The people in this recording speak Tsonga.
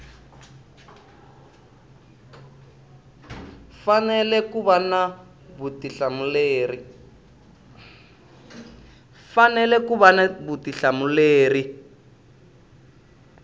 fanele ku va na vutihlamuleri